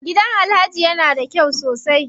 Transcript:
Gidan Alhaji ya na da kyau sosai.